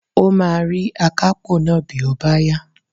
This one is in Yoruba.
O máa rí akápò náà bí ó bá yá